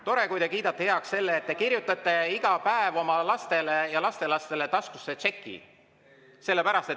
Tore, kui te kiidate heaks selle, et te kirjutate iga päev oma lastele ja lastelastele taskusse tšeki.